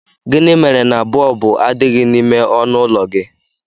Gịnị mere na bọlbụ adịghị n'ime ọnụụlọ gị?